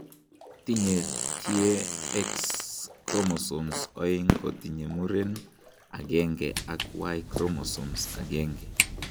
Tinye tie X chromosomes oeng' kotinye muren agenge ak y chromosome agenge.